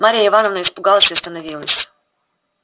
марья ивановна испугалась и остановилась